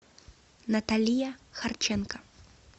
наталия харченко